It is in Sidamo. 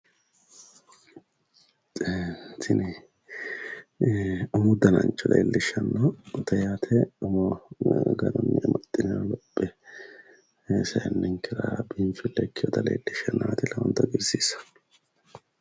tini umu danancho leellishshanote yaate umo garuni amaxinooniha lophe seenninkera biinfile ikinotaati leelishaahu lowonta hagiirsiisaahu.